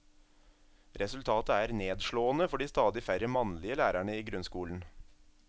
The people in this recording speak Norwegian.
Resultatet er nedslående for de stadig færre mannlige lærerne i grunnskolen.